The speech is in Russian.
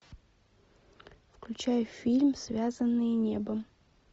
включай фильм связанные небом